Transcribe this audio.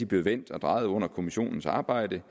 blev vendt og drejet under kommissionens arbejde